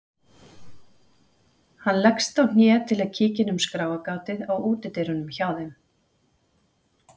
Hann leggst á hné til að kíkja inn um skráargatið á útidyrunum hjá þeim.